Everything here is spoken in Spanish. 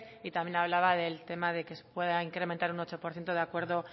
y también hablaba del tema de que se pueda incrementar un ocho por ciento de acuerdo